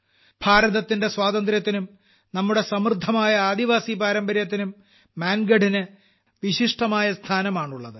ഭാരതത്തിന്റെ സ്വാതന്ത്ര്യസമരത്തിലും നമ്മുടെ സമൃദ്ധമായ ആദിവാസി പാരമ്പര്യത്തിനും മാൻഗഢിന് വിശിഷ്ടമായ സ്ഥാനമാണുള്ളത്